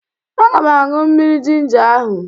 Aga m aṅụ mmiri jinja ahụ